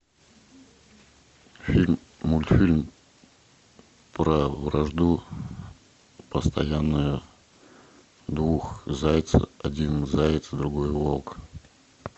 фильм мультфильм про вражду постоянную двух зайцев один заяц другой волк